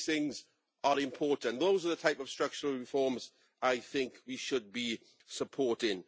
All these things are important. Those are the type of structural reforms that I think we should be supporting.